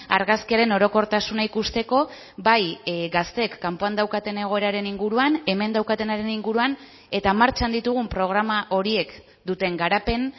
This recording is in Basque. argazkiaren orokortasuna ikusteko bai gazteek kanpoan daukaten egoeraren inguruan hemen daukatenaren inguruan eta martxan ditugun programa horiek duten garapen